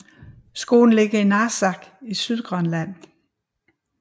Skolen ligger i Narsaq i Sydgrønland